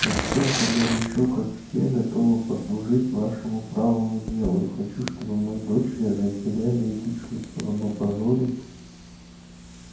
я столь же горячо как все готова послужить вашему правому делу и хочу чтобы мои дочери разделяли эти чувства но позорить